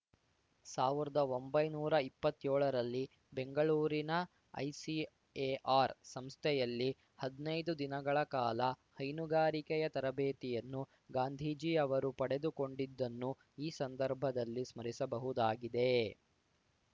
ಸಾವಿರ್ದಾ ಒಂಬೈನೂರಾ ಇಪ್ಪತ್ತ್ಯೋಳರಲ್ಲಿ ಬೆಂಗಳೂರಿನ ಐಸಿಎಆರ್‌ ಸಂಸ್ಥೆಯಲ್ಲಿ ಹದ್ನಯ್ದು ದಿನಗಳ ಕಾಲ ಹೈನುಗಾರಿಕೆಯ ತರಬೇತಿಯನ್ನು ಗಾಂಧೀಜಿ ಅವರು ಪಡೆದುಕೊಂಡಿದ್ದನ್ನು ಈ ಸಂದರ್ಭದಲ್ಲಿ ಸ್ಮರಿಸಬಹುದಾಗಿದೆ